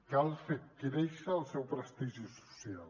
cal fer créixer el seu prestigi social